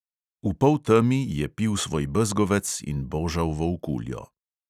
V poltemi je pil svoj bezgovec in božal volkuljo.